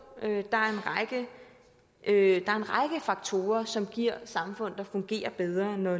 er en række faktorer som giver samfund der fungerer bedre når